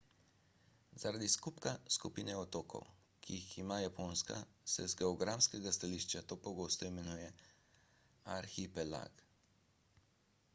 zaradi skupka/skupine otokov. ki jih ima japonska se z geografskega stališča ta pogosto imenuje arhipelag